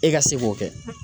E ka se k'o kɛ .